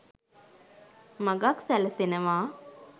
මගක් සැලසෙනවා